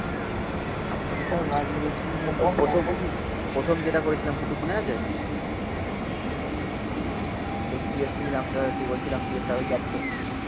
প্রথম যেটা করেছিলাম গুডডু মনে আছে হ্যাঁ হ্যাঁ মনে হচ্ছে